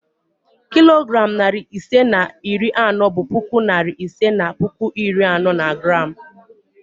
Kilogram narị ise na iri anọ bụ puku narị ise na puku iri anọ na gram